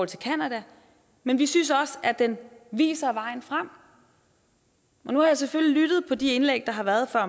til canada men vi synes også at den viser vejen frem nu har jeg selvfølgelig lyttet til de indlæg der har været før